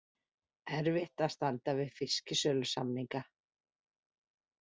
Erfitt að standa við fisksölusamninga